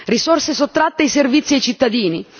risorse sottratte ai servizi ai cittadini.